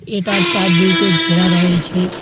এটার চারদিকে ঘেরা রয়েছে।